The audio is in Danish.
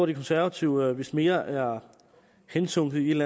de konservative vist mere er hensunket i en